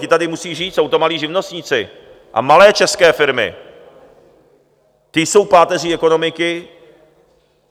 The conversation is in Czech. Ti tady musí žít, jsou to malí živnostníci a malé české firmy, ti jsou páteří ekonomiky.